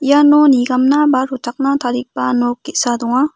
iano nigamna ba rochakna tarigipa nok ge·sa donga.